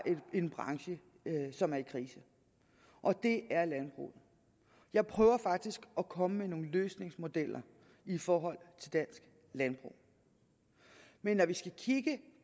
en branche som er i krise og det er landbruget jeg prøver faktisk at komme med nogle løsningsmodeller i forhold til dansk landbrug men når vi skal kigge